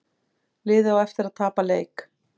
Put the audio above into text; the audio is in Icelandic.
Liðið á eftir að tapa leik